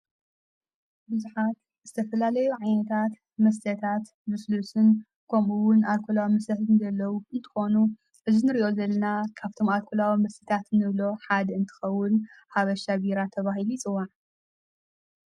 ብዙኃት ዝስተፈላለዮ ዓነታት መሥተታት ብስሉስን ኮምእውን ኣልኮላዋ ምሰተታትን ደለዉ ንትኮኑ እዝን ርዮ ዘልና ካብቶም ኣልኮላዊ ምሥታት ንብሎ ሓድ እንትኸውን ሃብሻ ቢራ ተባሂል ይጽዋዕ።